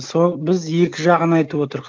сол біз екі жағын айтып отырық